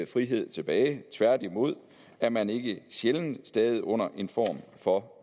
frihed tilbage tværtimod er man ikke sjældent stadig under en form for